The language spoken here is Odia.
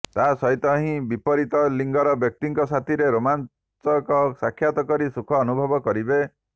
ତା ସହିତ ହିଁ ବିପରୀତ ଲିଙ୍ଗର ବ୍ୟକ୍ତିଙ୍କ ସାଥିରେ ରୋମାଞ୍ଚକ ସାକ୍ଷାତକରି ସୁଖ ଅନୁଭବ କରିବେ